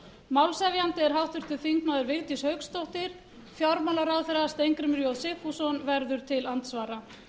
málshefjandi er háttvirtur þingmaður vigdís hauksdóttir fjármálaráðherra steingrímur j sigfússon verður til andsvara